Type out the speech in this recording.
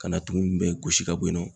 Ka na tumu bɛɛ gosi ka bɔ yen nɔ.